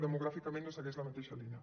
demogràficament no se segueix la mateixa línia